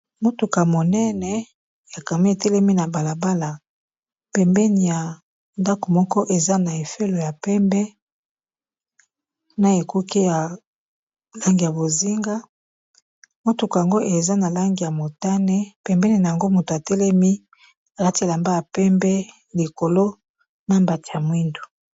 motuka monene ya camion etelemi na balabala pembeni ya ndaku moko eza na fololo ya pembe na ekuke ya langi ya bozinga, motuka yango eza na langi ya motane ,pembeni na yango moto atelemi alati elamba ya pembe likolo na mbati ya mwindu.